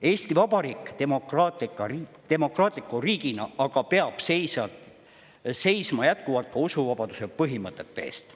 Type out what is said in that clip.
Eesti Vabariik demokraatliku riigina aga peab seisma jätkuvalt ka usuvabaduse põhimõtete eest.